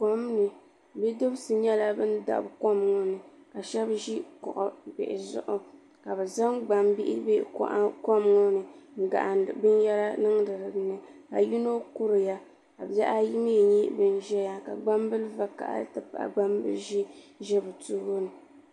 Komni bidibsi nyɛla ban dabi kom ŋɔ ni ka sheba ʒi kuɣu bihi zuɣu ka bɛ zaŋ gbambihi be kom ŋɔni n gahindi binyera niŋdi dinni ka yino kuriya ka bihi ayi mee n nyɛ ban ʒɛya ka gbambili vakahali n ti pahi gbambili ʒee n ʒɛ bɛ tooni.